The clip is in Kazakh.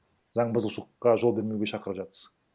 заң бұзушылыққа жол бермеуге шақырып жатсыз